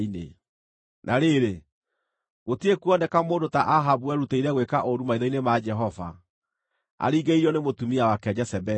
(Na rĩrĩ, gũtirĩ kuoneka mũndũ ta Ahabu werutĩire gwĩka ũũru maitho-inĩ ma Jehova, aringĩrĩirio nĩ mũtumia wake Jezebeli.